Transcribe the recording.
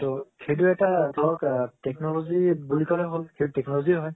উম সেইটো এটা technology বুলি কলে হল সেইটো technology হয়